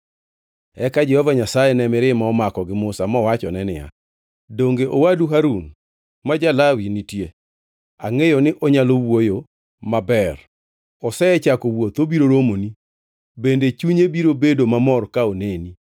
Eka Jehova Nyasaye ne mirima omako gi Musa mowachone niya, “Donge owadu Harun ma ja-Lawi nitie? Angʼeyo ni onyalo wuoyo maber. Osechako wuoth obiro romoni bende chunye biro bedo mamor ka oneni.